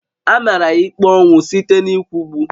A mara ya ikpe ọnwụ site n'ịkwụgbu